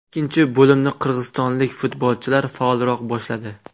Ikkinchi bo‘limni qirg‘izistonlik futbolchilar faolroq boshladi.